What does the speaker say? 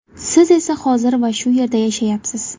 Siz esa hozir va shu yerda yashayapsiz.